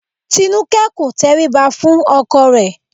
Tinúkẹ́ kò tẹríba fún ọkọ rẹ̀